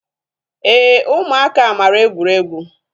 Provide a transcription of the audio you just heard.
Éè ụmụaka mara egwuregwu